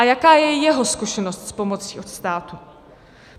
A jaká je jeho zkušenost s pomocí od státu?